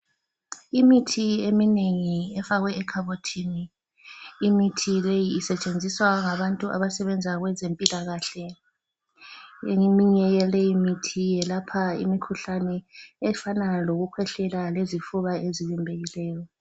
Imithi eminengi efakwe ekhabothini. Imithi leyi isetshenziswa ngabantu abasebenza kwezempilakahle. Eminye yaleyi mithi yelapha imikhuhlane efana lokukhwehlela lezifuba ezivimbekileyo.